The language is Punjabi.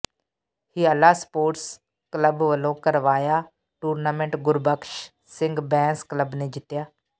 ਹਿਆਲਾ ਸਪੋਰਟਸ ਕਲੱਬ ਵਲੋਂ ਕਰਵਾਇਆ ਟੂਰਨਾਮੈਂਟ ਗੁਰਬਖ਼ਸ਼ ਸਿੰਘ ਬੈਂਸ ਕਲੱਬ ਨੇ ਜਿੱਤਿਆ